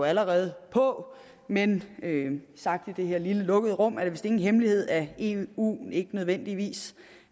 allerede på men sagt i det her lille lukkede rum er det vist ingen hemmelighed at eu ikke nødvendigvis